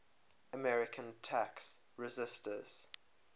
american tax resisters